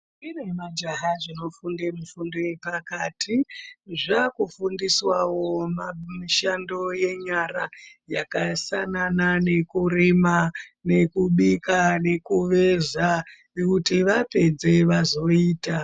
Ndombi nemajaha zvinofunde mifundo yepakati zvakufundiswawo mishando yenyara yakafananawo nekurima, nekubika nekuveza kuti vapedze vazoita.